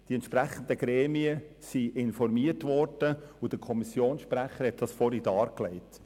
Die entsprechenden Gremien wurden informiert, und der Kommissionssprecher hat den Befund zuvor dargelegt.